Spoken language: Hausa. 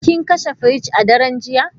Kin kashe firij a daren jiya?